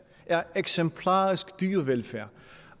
er eksemplarisk dyrevelfærd